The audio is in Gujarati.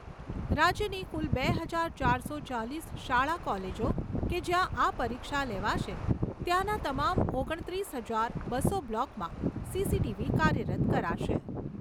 રાજ્યની કુલ બે હજાર ચારસો ચાલીસ શાળા કોલેજો કે જ્યાં આ પરીક્ષા લેવાશે ત્યાંના તમામ ઓગણત્રીસ હજાર, બસો બ્લોકમાં સીસીટીવી કાર્યરત કરાશે.